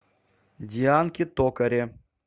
дианке токаре